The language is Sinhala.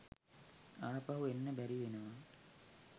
ආපහු එන්න බැරිවෙනව